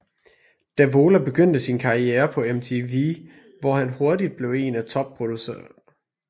Davola begyndte sin karrierer på MTV hvor han hurtigt blev en af top producerne